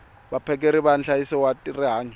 vaphakeri va nhlayiso wa rihanyo